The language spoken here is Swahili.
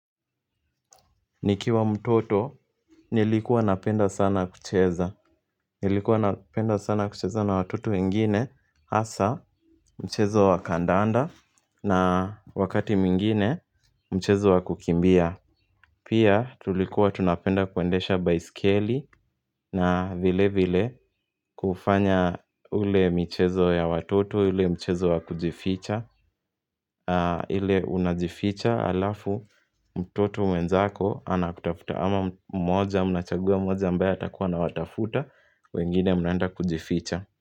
Nikiwa mtoto nilikuwa napenda sana kucheza Nilikuwa napenda sana kucheza na watoto wengine hasa mchezo wa kandanda na wakati mingine mchezo wakukimbia Pia tulikuwa tunapenda kuendesha baiskeli na vile vile kufanya ule michezo ya watoto ule mchezo wakujificha ile unajificha halafu mtoto mwenzako ana kutafuta ama mmoja Mnachagua mmoja ambaye atakuwa anawatafuta wengine mnaenda kujificha.